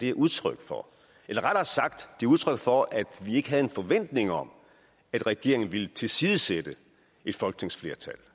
er udtryk for eller rettere sagt det er udtryk for at vi ikke havde en forventning om at regeringen ville tilsidesætte et folketingsflertal